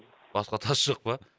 басқа тас жоқ па